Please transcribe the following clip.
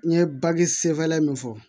N ye bagi sen fɛn min fɔ